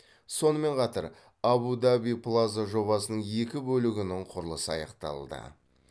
сонымен қатар абу даби плаза жобасының екі бөлігінің құрылысы аяқталды